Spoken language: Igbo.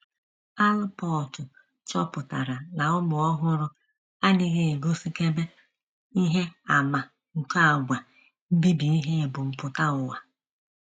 Allport, chọpụtara na ụmụ ọhụrụ “ adịghị egosikebe... ihe àmà nke àgwà mbibi ihe ebumpụta ụwa.....